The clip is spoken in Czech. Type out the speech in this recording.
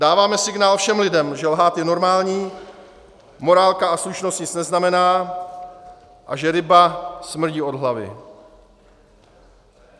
Dáváme signál všem lidem, že lhát je normální, morálka a slušnost nic neznamená a že ryba smrdí od hlavy.